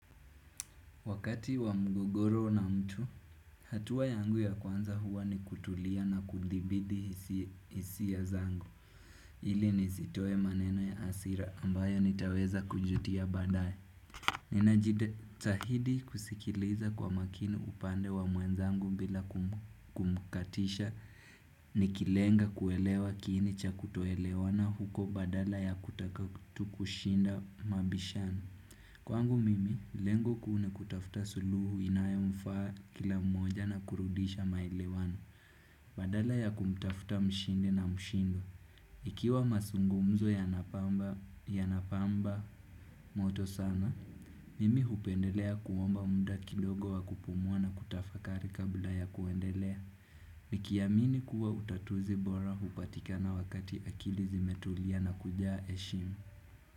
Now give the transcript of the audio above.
Wakati wa mgogoro na mtu, hatuwa yangu ya kwanza huwa ni kutulia na kudhibidi hisia zangu. Ili nizitoe maneno ya asira ambayo nitaweza kujutia baadaye. Nina jida tahidi kusikiliza kwa makini upande wa mwenzangu bila kumkatisha, nikilenga kuelewa kiini cha kutoelewana huko badala ya kutaka tu kushinda mabishano. Kwangu mimi, lengo kuu nikutafuta suluhu inayemfaa kila mmoja na kurudisha maelewano. Badala ya kumtafuta mshindi na mshindo. Ikiwa masungumzo yanapamba moto sana, mimi hupendelea kuomba muda kidogo wa kupumua na kutafakari kabla ya kuendelea. Nikiamini kuwa utatuzi bora hupatikana wakati akili zimetulia na kujaa heshimu.